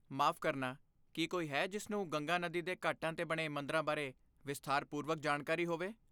ਮਾਫ਼ ਕਰਨਾ, ਕੀ ਕੋਈ ਹੈ ਜਿਸ ਨੂੰ ਗੰਗਾ ਨਦੀ ਦੇ ਘਾਟਾਂ 'ਤੇ ਬਣੇ ਮੰਦਰਾਂ ਬਾਰੇ ਵਿਸਥਾਰਪੂਰਵਕ ਜਾਣਕਾਰੀ ਹੋਵੇ?